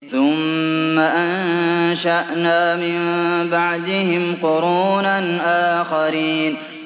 ثُمَّ أَنشَأْنَا مِن بَعْدِهِمْ قُرُونًا آخَرِينَ